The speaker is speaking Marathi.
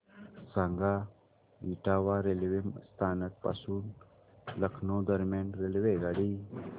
सांगा इटावा रेल्वे स्थानक पासून लखनौ दरम्यान रेल्वेगाडी